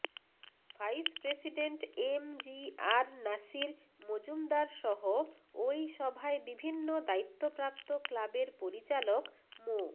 vice president M G R Nasir মজুমদারসহ ওই সভায় বিভিন্ন দায়িত্বপ্রাপ্ত ক্লাবের পরিচালক মো